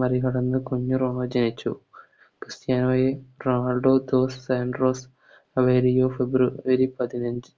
മറികടന്ന് കുഞ്ഞ് റോണി ജനിച്ചു ക്രിസ്ത്യാനോയെ Ronaldo dos Santos Aveiro February പതിനഞ്ച്